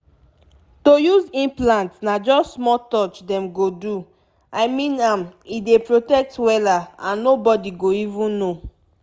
to use implant na just small touch dem go do i mean m e dey protect wela and nobody go even know.